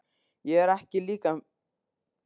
Ég er ekki að líkja mér við Sæma eða lögg